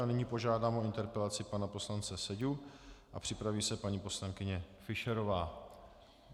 A nyní požádám o interpelaci pana poslance Seďu a připraví se paní poslankyně Fischerová.